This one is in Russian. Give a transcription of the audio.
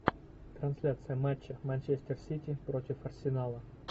трансляция матча манчестер сити против арсенала